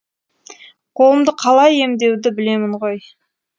қолымды қалай емдеуді білемін ғой